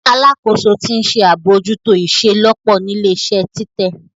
Alakoso ti nṣe abojuto iṣelọpọ ni ile-iṣẹ titẹ.